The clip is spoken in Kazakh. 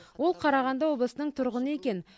ол қарағанды облысының тұрғыны екен